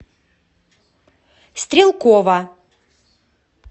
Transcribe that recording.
стрелкова